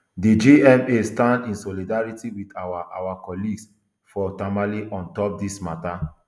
di gma dey stand in solidarity wit our our colleagues for tamale on top dis mata